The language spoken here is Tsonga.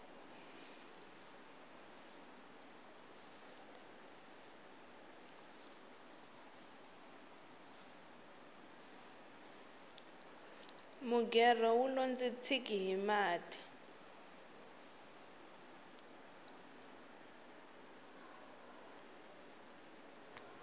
mugerho wulo ndzi tshiki hi mati